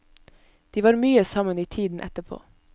De var mye sammen i tiden etterpå.